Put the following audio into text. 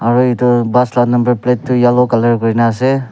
aru etu bus la number plate tu yellow color kurina ase.